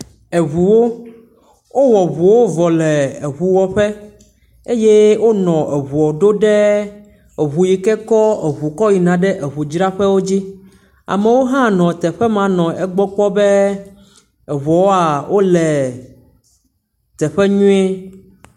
Eŋuwo, wowɔ eŋuwo vɔ le eŋuwɔƒe eye wonɔ eŋuɔ ɖo ɖe eŋu yi ke kɔ eŋuwo yina eŋudzraƒewo dzi, amewo hã nɔ teƒe ma nɔ egbɔ kpɔm be eŋuwoa wole teƒe nyuie